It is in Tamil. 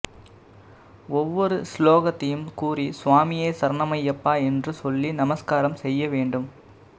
ஒவ்வொரு ஸ்லோகத்தையும் கூறி சுவாமியே சரணமய்யப்பா என்று சொல்லி நமஸ்காரம் செய்ய வேண்டும்